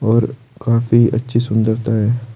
और काफी अच्छी सुंदरता है।